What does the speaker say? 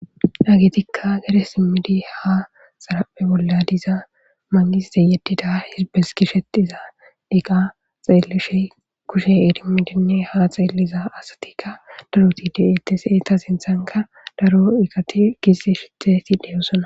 Dhogidagetikka gede simmidi ha xarapphe bolla diza mangistey yeddida hizbes gishetiza eqa xeellishe kushe idimidinne ha xeelliza asatikka daroti de7etes eetaa sinthanka daro iqati gize sheteti de7ossona